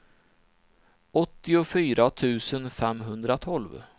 åttiofyra tusen femhundratolv